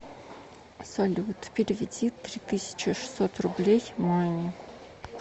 салют переведи три тысячи шестьсот рублей маме